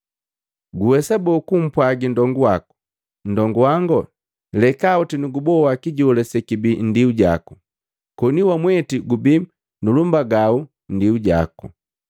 Guwesa boo kumpwagi nndongu waku, ‘Nndongu wango, lekaoti nuguboi kijola sekibii nndiu jaku,’ koni wamweti gubii nulumbagau nndiu jako?